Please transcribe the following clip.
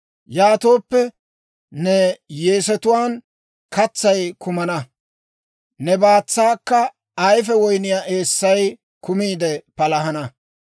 Yaatooppe, ne yeesetuwaan katsay kumana; ne baatsaakka ayife woyniyaa eessay kumiide palahana.